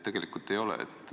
Tegelikult ei ole.